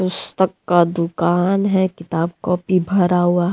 पुस्तक का दुकान है किताब कॉपी भरा हुआ।